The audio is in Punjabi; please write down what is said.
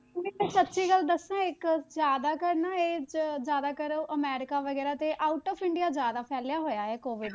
ਮੈਂ ਤਾਂ ਸੱਚੀ ਗੱਲ ਦੱਸਾਂ ਇੱਕ ਜ਼ਿਆਦਾ ਕਰ ਨਾ ਇਹ ਅਹ ਜ਼ਿਆਦਾ ਕਰ ਅਮੈਰਿਕਾ ਵਗ਼ੈਰਾ ਤੇ out of ਇੰਡੀਆ ਜ਼ਿਆਦਾ ਫੈਲਿਆ ਹੋਇਆ ਇਹ COVID